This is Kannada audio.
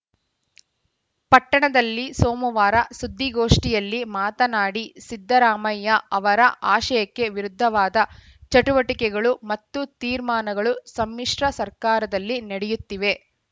ಪಟ್ಟಣದಲ್ಲಿ ಸೋಮವಾರ ಸುದ್ದಿಗೋಷ್ಠಿಯಲ್ಲಿ ಮಾತನಾಡಿ ಸಿದ್ದರಾಮಯ್ಯ ಅವರ ಆಶಯಕ್ಕೆ ವಿರುದ್ಧವಾದ ಚಟುವಟಿಕೆಗಳು ಮತ್ತು ತೀರ್ಮಾನಗಳು ಸಮ್ಮಿಶ್ರ ಸರ್ಕಾರದಲ್ಲಿ ನಡೆಯುತ್ತಿವೆ